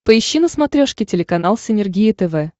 поищи на смотрешке телеканал синергия тв